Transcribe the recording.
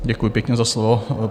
Děkuji pěkně za slovo.